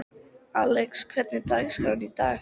Alex, hvernig er dagskráin í dag?